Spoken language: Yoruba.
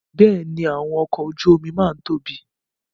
Bẹ́ẹ̀ni, àwọn ọkọ ojú omi máa ń tóbi